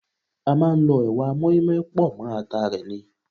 A máa ń lọ ẹwà mọ́ínmọ́ín pọ̀ mọ́ ata rẹ ni.